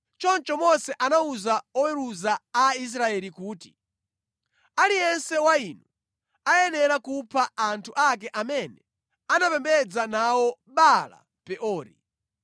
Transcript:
Choncho Mose anawuza oweruza a Israeli kuti, “Aliyense wa inu ayenera kupha anthu ake amene anapembedza nawo Baala-Peori.”